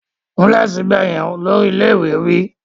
Kúnlẹ̀ síbẹ̀ yẹn! Olórí ilé ìwé wí.